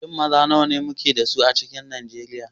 Shin maza nawa muke da shi a cikin Nijeriya?